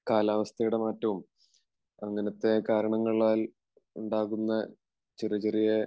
കാലാവസ്ഥയുടെ മാറ്റവും അങ്ങനത്തെ കാരണങ്ങളാൽ ഉണ്ടാകുന്ന ചെറിയ ചെറിയ